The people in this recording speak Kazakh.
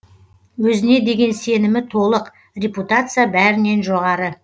өзіне деген сенімі толық репутация бәрінен жоғары